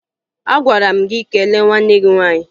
Agwara m gị kelee nwanne gị nwaanyị!